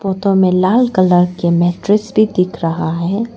Photo में लाल colour के मैट्रिक्स भी दिख रहा है।